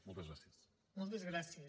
moltes gràcies